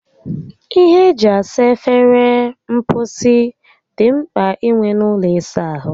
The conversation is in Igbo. Ihe eji esa efere mposi dị mkpa inwe n'ụlọ ịsa ahụ